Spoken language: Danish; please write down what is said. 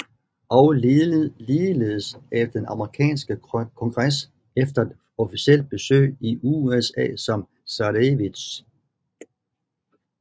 Og ligeledes af den amerikanske kongres efter et officielt besøg i USA som zarevitch